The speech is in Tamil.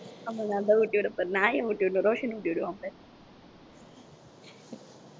ஆமா நான்தான் ஊட்டி விடப் போறேன் நான் ஏன் ஊட்டி விடணும் ரோஷன் ஊட்டி விடுவான் பாரு